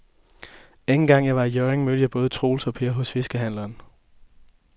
Anden gang jeg var i Hjørring, mødte jeg både Troels og Per hos fiskehandlerne.